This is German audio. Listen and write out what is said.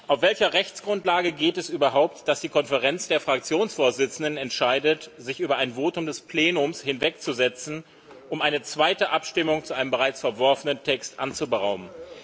Auf welcher Rechtsgrundlage geht es überhaupt, dass die Konferenz der Fraktionsvorsitzenden entscheidet, sich über ein Votum des Plenums hinwegzusetzen, um eine zweite Abstimmung zu einem bereits verworfenen Text anzuberaumen?